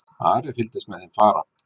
Ari fylgdist með þeim fara.